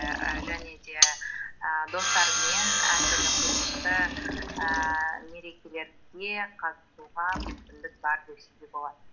і және де і достарыңмен әртүрлі қызықты ііі мерекелерге қатысуға мүмкіндік бар десе де болады